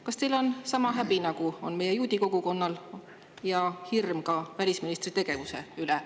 Kas teil on sama häbi, nagu on meie juudi kogukonnal, ja hirm ka välisministri tegevuse pärast?